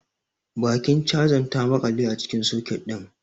Bakin chazan ta maƙale a cikin soket din.